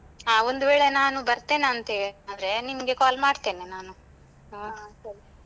ಹಾ ಒಂದು ವೇಳೆ ನಾನು ಬರ್ತೇನೆ ಅಂತ ಆದ್ರೆ ನಿಮ್ಗೆ call ಮಾಡ್ತೇನೆ ನಾನು ಅಹ್.